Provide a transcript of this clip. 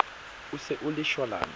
e se e le shwalane